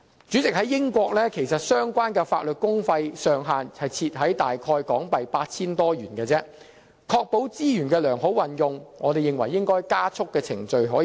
主席，英國相關的法律公費上限設在大約港幣 8,000 元，為確保資源得到良好運用，我們認為應加速處理程序。